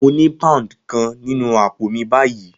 Mo ní pound kan nínú àpò mi báyìí.